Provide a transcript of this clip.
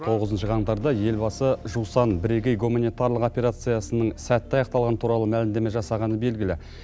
тоғызыншы қаңтарда елбасы жусан бірегей гуманитарлық операциясының сәтті аяқталғаны туралы мәлімдеме жасағаны белгілі